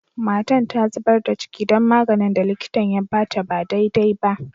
Matan ta zubar da ciki dan maganin da likitan ya ba ta ba dai dai ba.